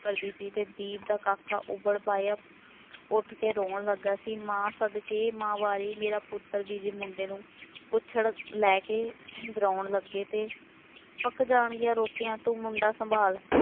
ਕਰਦੀ ਸੀ ਅਤੇ ਦੀਪ ਦਾ ਕਾਕਾ ਉੱਠ ਕੇ ਰੋਣ ਲੱਗਾ ਸੀ, ਮਾਂ ਸਦਕੇ ਮਾਂ ਵਾਰੀ ਮੇਰਾ ਪੁੱਤਰ ਵੀ, ਜੇ ਮੁੰਡੇ ਨੂੰ ਕੁੱਛੜ ਲੈ ਕੇ ਵਿਰਾਉਣ ਲੱਗੇ ਅਤੇ ਪੱਕ ਜਾਣਗੀਆਂ ਰੋਟੀਆਂ ਤੂੰ ਮੁੰਡਾ ਸੰਭਾਲ,